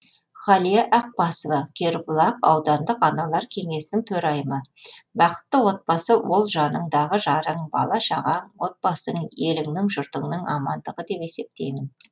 ғалия ақбасова кербұлақ аудандық аналар кеңесінің төрайымы бақытты отбасы ол жаныңдағы жарың бала шағаң отбасың еліңнің жұртыңның амандығы деп есептеймін